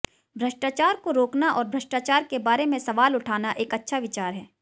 भ्रष्टाचार को रोकना और भ्रष्टाचार के बारे में सवाल उठाना एक अच्छा विचार है